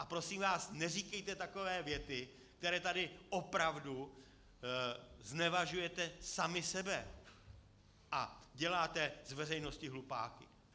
A prosím vás, neříkejte takové věty, kterými tady opravdu znevažujete sami sebe a děláte z veřejnosti hlupáky.